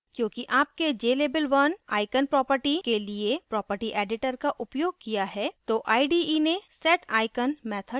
क्योंकि आपने jlabel1 icon property के लिए property editor का उपयोग किया है तो ide ने seticon method तैयार किया है